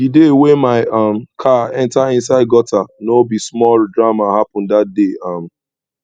di day wey my um car enta inside gutter no be small drama happen dat day um